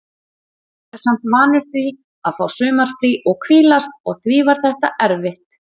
Maður er samt vanur því að fá sumarfrí og hvílast og því var þetta erfitt.